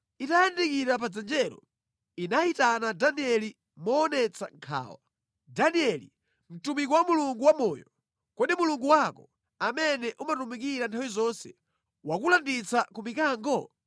Itayandikira pa dzenjelo, inayitana Danieli moonetsa nkhawa, “Danieli, mtumiki wa Mulungu wa moyo! Kodi Mulungu wako, amene umutumikira nthawi zonse, wakulanditsa ku mikango?”